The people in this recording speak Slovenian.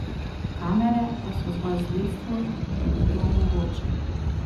Kamere pa so zgolj sredstvo, ki ti to omogoči.